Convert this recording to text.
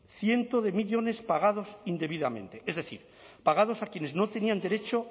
cientos de millónes pagados indebidamente es decir pagados a quienes no tenían derecho